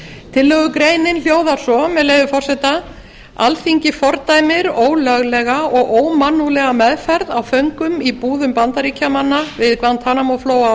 tillögugreinin hljóðar svo með leyfi forseta alþingi fordæmir ólöglega og ómannúðlega meðferð á föngum í búðum bandaríkjamanna við guantanamo flóa á